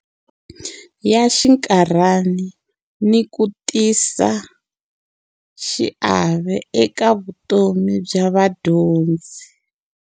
Ya xinkarhani ni ku tisa xiave eka vutomi bya vadyondzi.